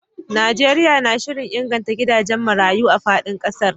Najeriya na shirin inganta gidajen marayu a fadin kasar